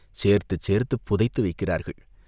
சேர்த்துச் சேர்த்துப் புதைத்து வைக்கிறார்கள்.